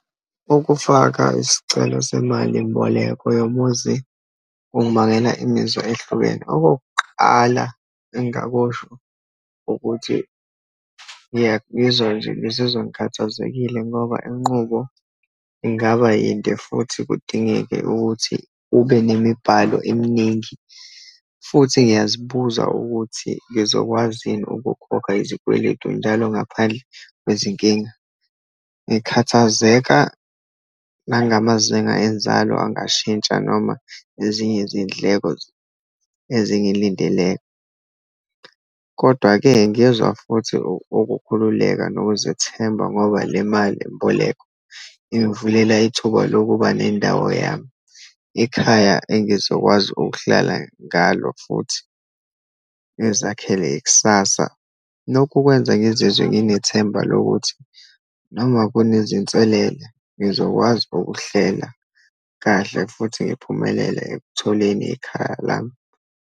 Ukufaka isicelo semalimboleko yomuzi kungabangela imizwa ehlukene. Okokuqala engingakusho, ukuthi ngiya, ngizwa nje, ngizizwa ngikhathazekile, ngoba inqubo ingaba yinde, futhi kudingeke ukuthi ube nemibhalo eminingi, futhi ngiyazibuza ukuthi ngizokwazi yini ukukhokha izikweletu njalo, ngaphandle kwezinkinga. Ngikhathazeka nangamazinga enzalo angashintsha, noma ezinye izindleko ezingilindeleyo. Kodwa-ke ngezwa futhi ukukhululeka, nokuzethemba ngoba le malimboleko ingivulela ithuba lokuba nendawo yami, ikhaya engizokwazi ukuhlala ngalo, futhi ngizakhele ikusasa, nokukwenza ngizizwe nginethemba lokuthi noma kunezinselele, ngizokwazi ukuhlela kahle, futhi ngiphumelele ekutholeni ikhaya lami.